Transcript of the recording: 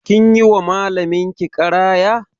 Kin yi wa malamin ki ƙaraya?